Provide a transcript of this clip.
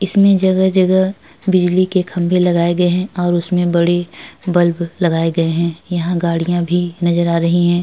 इसमें जगह-जगह बिजली के खम्बे लगाये गए हैं और इसमें बड़ी बल्ब लगाये गए हैं। यहाँ गाड़ियाँ भी नजर आ रही हैं।